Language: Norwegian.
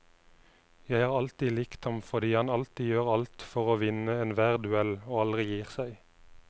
Jeg har alltid likt ham fordi han alltid gjør alt for å vinne enhver duell og aldri gir seg.